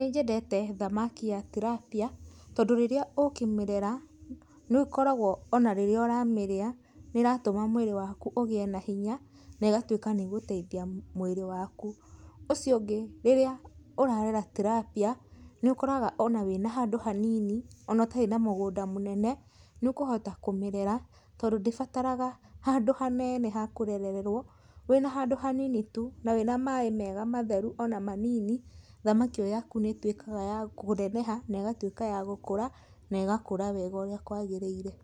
Nĩnjendete thamaki ya tilapia, tondũ rĩrĩa ũkĩmĩrera, nĩũkoragwo ona rĩrĩa ũramĩrĩa, nĩratũma mwĩrĩ waku ũgĩe na hinya, negatuĩka nĩgũteithia mwĩrĩ waku, ũcio ũngĩ, rĩrĩa ũrarera tilapia, nĩũkoraga ona wĩna handũ hanini, ona ũtarĩ na mũgũnda mũnene, nĩũkũhota kũmĩrera, tondũ ndĩbataraga handũ hanene hakũrererwo, wĩna handũ hanini tu na wĩna maĩ mega matheru ona manini, thamaki ĩyo yaku nĩtuĩkaga ya kũneneha, negatuĩka ya gũkũra, negakũra wega ũrĩa kwagĩrĩire.